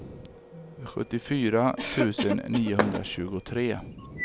sjuttiofyra tusen niohundratjugotre